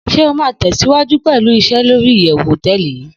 Shey o ma tesiwaju pelu ise lori iyewu hoteeli yii